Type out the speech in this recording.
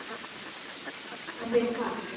En við hvað?